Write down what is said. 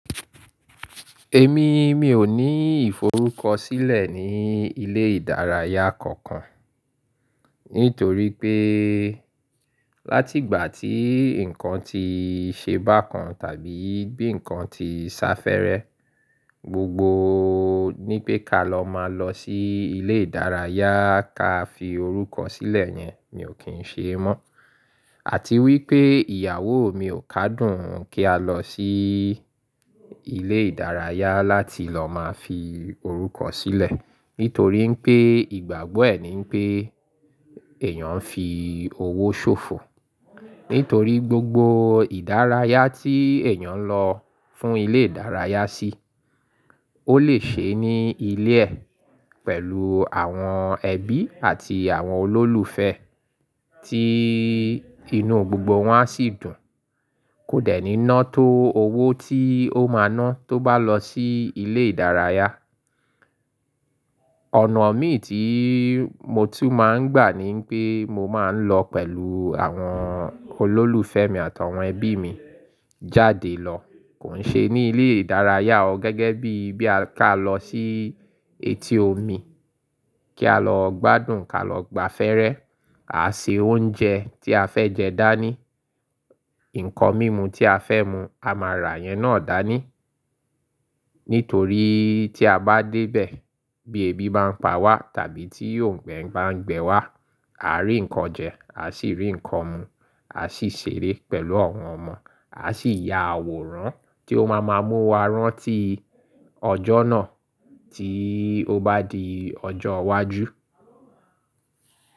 Èmi, mi ò ní ìforúkọ sílẹ̀ ní ilé ìdárayá kankan. Nítorí pé láti ìgbà tí ǹkan ti ṣe bá kan tàbí bí ǹkan ti sá fẹ́rẹ́, gbogbo ní pé ká lọ máa lọ sí ilé ìdárayá ka fi orúkọ sílẹ̀ yẹn, mi ò kí ń ṣe mọ́. Àti wípé ìyàwó mi ò kádùn kí a lọ sí ilé ìdárayá láti lọ máa fi orúkọ sílẹ̀ nítorí pé ìgbàgbọ́ ẹ̀ ní pé èèyàn ń fi owó ṣòfò. Nítorí gbogbo ìdárayá tí èèyàn ń lọ fún ilé ìdárayá sí, ó lè ṣe é ní ilé ẹ̀ pẹ̀lú àwọn ẹbí àti àwọn olólùfẹ́ tí inú gbogbo wọn a sì dùn, kò dẹ̀ ní nọ́ tó owó tí ó máa ná tó bá lọ sí ilé ìdárayá. Ọ̀nà mi tí mo tún máa ń gbà ni wípé mo máa ń lọ pẹ̀lú àwọn olólùfẹ́ mi àtàwọn ẹbí mi jáde lọ, kò ń ṣe ní ilé ìdárayá o gẹ́gẹ́ bí, bí a ká lọ sí etí omi kí á lọ gbádùn, ká lọ gbafẹ́rẹ́, ká ṣe oúnjẹ tí a fẹ́ jẹ dání, ǹkan mímu tí a fẹ́ mu, a máa rà yẹn náà dání. Nítorí tí a bá dé bẹ̀ bí ebi bá ń pa wá tàbí tí òǹgbẹ ń bá ń gbẹ wá, a rí ǹkan jẹ, a sì rí ǹkan mu, a sì ṣeré pẹ̀lú àwọn ọmọ, a sì ya àwòrán tí ó máa má mú wa rán tí ọjọ́ náà tí ó bá di ọjọ́ iwájú.